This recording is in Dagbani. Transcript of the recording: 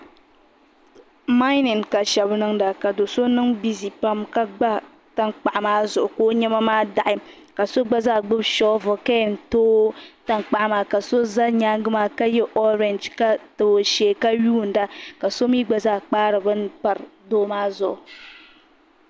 Mayinin ka shaba niŋda ka doo so niŋ bizi pam ka gba tankpaɣu maa zuɣu ka o niɛma maa daɣi ka so gbubi shoovili ka yen tooyi tankpaɣu maa ka so za nyaanga maa ka yɛ ɔrɛnje ka tabi o shee ka yuunda ka so gba zaa kpaari bini pari doo maa zuɣu.